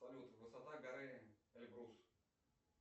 салют высота горы эльбрус